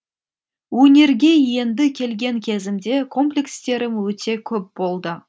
өнерге енді келген кезімде комплекстерім өте көп болды